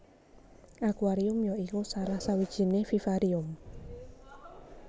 Akuarium ya iku salah sawijiné vivarium